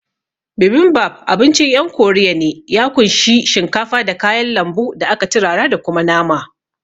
Bibimbap abincin ƴan korea ne, ya kunshi shinkafa, da kayan lambu da aka turara da kuma nama